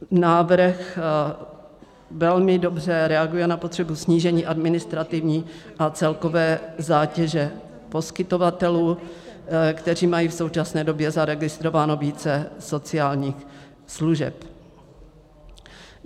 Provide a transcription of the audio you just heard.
Návrh velmi dobře reaguje na potřebu snížení administrativní a celkové zátěže poskytovatelů, kteří mají v současné době zaregistrováno více sociálních služeb.